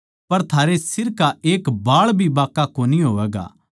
पर थारे सिर का एक बाळ भी बाँका कोनी होवैगा